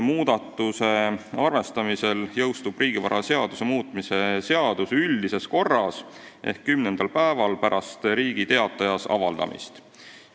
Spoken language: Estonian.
Muudatuse arvestamisel jõustub riigivaraseaduse muutmise seadus üldises korras ehk kümnendal päeval pärast Riigi Teatajas avaldamist.